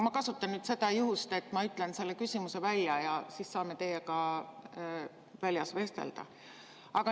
Ma kasutan nüüd juhust, et ma ütlen selle küsimuse välja ja siis saame teiega väljas vestelda.